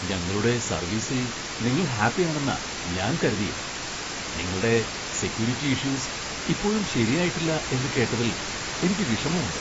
ഞങ്ങളുടെ സർവീസിൽ നിങ്ങൾ ഹാപ്പിയാണെന്നാ ഞാൻ കരുതിയെ. നിങ്ങൾടെ സെക്യൂരിറ്റി ഇഷ്യൂസ് ഇപ്പോഴും ശരിയായിട്ടില്ല എന്ന് കേട്ടതിൽ എനിക്ക് വിഷമമുണ്ട്.